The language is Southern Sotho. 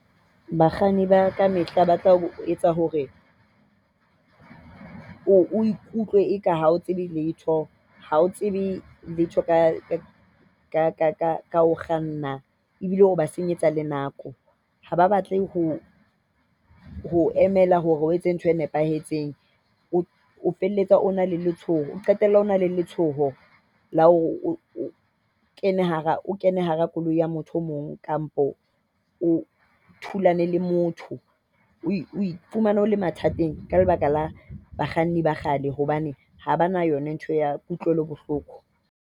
Bakganni ba kamehla ba tla ho etsa hore o ikutlwa eka ha o tsebe letho. Ha o tsebe letho ka ho kganna. Ebile o ba senyetsa le nako. Ha ba batle ho ho emela hore o etse ntho e nepahetseng. O felletsa o na le letshoho o qetella o na le letshoho la hore o kene hara koloi ya motho e mong, kapa o thulane le motho. O fumana o le mathateng ka lebaka la bakganni ba kgale hobane ha ba na yona ntho ya kutlwelo bohloko.